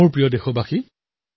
মোৰ মৰমৰ দেশবাসীসকল